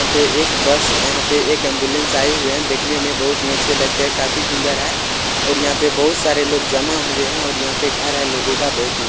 यहां पर एक बस यहां पर एक एम्बुलेंस आयी हुई है देखने में बहुत ही अच्छा लगते है काफी सूंदर है और यहां पर बहुत सारे लोग जमा हुए हैं और यहां पर घर है लोगो का बहुत ही --